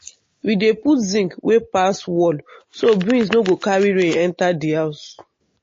we dey put zinc wey pass wall so breeze no go carry rain enter di house.